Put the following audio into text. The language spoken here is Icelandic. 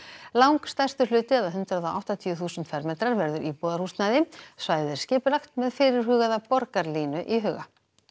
langstærstur hluti eða hundrað og áttatíu þúsund fermetrar verður íbúðarhúsnæði svæðið er skipulagt með fyrirhugaða borgarlínu í huga